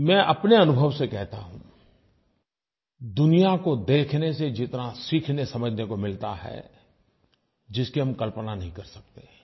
मैं अपने अनुभव से कहता हूँ दुनिया को देखने से जितना सीखनेसमझने को मिलता है जिसकी हम कल्पना नहीं कर सकते